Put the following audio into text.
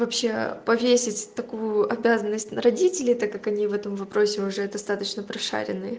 вообще повесить такую обязанность на родителей так как они в этом вопросе уже достаточно прошарены